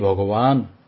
হে ভগবান